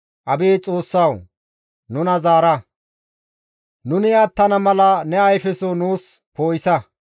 Abeet Xoossawu! Nuna zaara; nuni attana mala ne ayfeso nuus poo7isa.